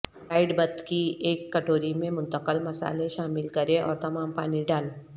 fried بتھ کی ایک کٹوری میں منتقل مصالحے شامل کریں اور تمام پانی ڈال